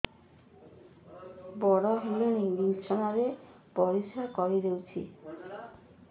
ବଡ଼ ହେଲାଣି ବିଛଣା ରେ ପରିସ୍ରା କରିଦେଉଛି